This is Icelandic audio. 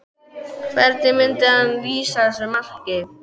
Hvernig myndi hann lýsa þessu marki?